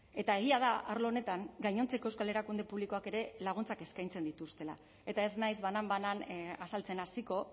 eta egia da arlo honetan gainontzeko euskal erakunde publikoak ere laguntzak eskaintzen dituztela eta ez naiz banan banan azaltzen hasiko